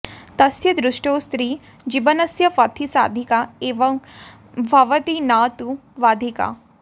तस्य दृष्टौ स्त्रीः जीवनस्य पथि साधिका एव भवति न तु बाधिका